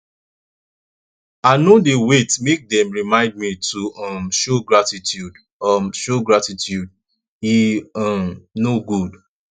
i no dey wait make dem remind me to um show gratitude um show gratitude e um no good